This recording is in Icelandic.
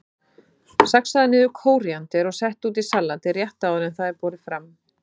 Saxaðu niður kóríander og settu út í salatið rétt áður en það er borið fram.